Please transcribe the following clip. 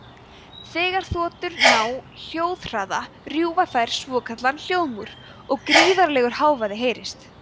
þegar þotur ná hljóðhraða rjúfa þær svokallaðan hljóðmúr og gríðarlegur hávaði heyrist